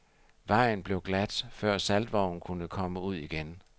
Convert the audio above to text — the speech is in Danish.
Vejen blev glat, før saltvognen kunne komme ud igen.